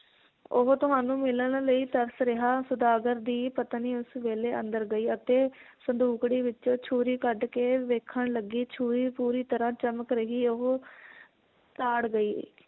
ਉਹ ਤੁਹਾਨੂੰ ਮਿਲਣ ਲਈ ਤਰਸ ਰਿਹਾ ਸੌਦਾਗਰ ਦੀ ਪਤਨੀ ਉਸ ਵੇਲੇ ਅੰਦਰ ਗਈ ਅਤੇ ਸੰਦੂਕੜੀ ਵਿਚੋਂ ਛੁਰੀ ਕੱਢ ਕੇ ਵੇਖਣ ਲੱਗੀ ਛੁਰੀ ਪੂਰੀ ਤਰਾਂ ਚਮਕ ਰਹੀ ਉਹ ਤਾੜ ਗਈ